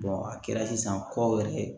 a kɛra sisan kɔ yɛrɛ